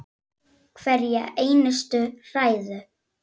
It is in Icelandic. Hverja einustu hræðu!